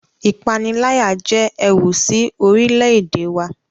Ìpaniláyà jẹ ẹwù sí orílè-èdè wà